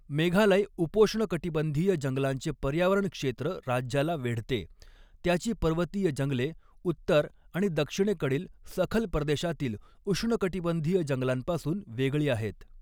मेघालय उपोष्णकटिबंधीय जंगलांचे पर्यावरण क्षेत्र राज्याला वेढते, त्याची पर्वतीय जंगले उत्तर आणि दक्षिणेकडील सखल प्रदेशातील उष्णकटिबंधीय जंगलांपासून वेगळी आहेत.